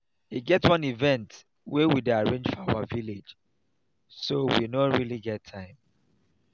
e get wan event we dey arrange for our village so we no really get time